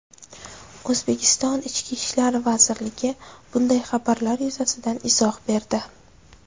O‘zbekiston Ichki ishlar vazirligi bunday xabarlar yuzasidan izoh berdi .